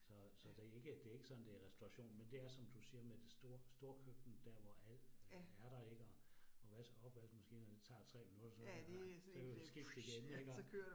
Så så det ikke det ikke sådan det restauration, men det er som du siger med det store store køkken, der hvor alt er der ik og opvaskemaskinerne tager 3 minutter, så så kan man skifte igen iggå